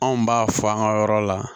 Anw b'a fɔ an ka yɔrɔ la